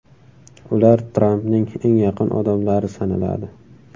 Ular Trampning eng yaqin odamlari sanaladi.